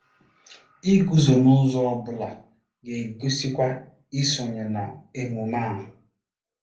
Iguzo n'ụzọ ọ bụla ga-egosikwa isonye na emume a.